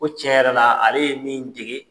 Ko tiɲɛ yɛrɛ la , ale ye min dege